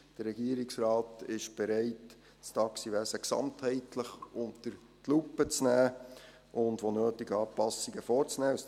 Der Regierungsrat ist bereit, das Taxiwesen gesamtheitlich unter die Lupe zu nehmen und wo nötig Anpassungen vorzunehmen.